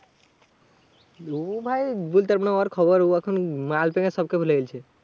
ও ভাই বলতে পারবো না ওর খবর। ও এখন মাল পেয়ে সবকে ভুলে গেছে।